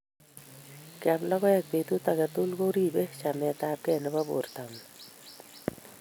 Keam logoek petut age tugul ko ripei chametapkei nebo portongung